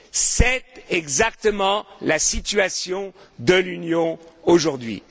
C'est exactement la situation de l'Union aujourd'hui.